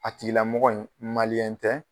A tigilamɔgɔ in tɛ